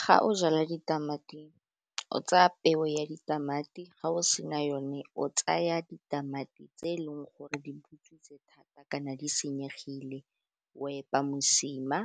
Ga o jala ditamati, o tsaya peo ya ditamati, ga o sena yone o tsaya ditamati tse e leng gore di butswitseng thata, kana di senyegile o epa mosima,